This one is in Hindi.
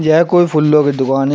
यह कोई फूलों को दुकान है।